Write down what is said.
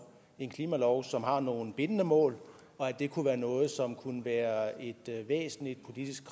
en klimalov som har nogle bindende mål at det kunne være noget som kunne være et væsentligt politisk